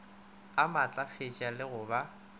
a maatlafetše le go ba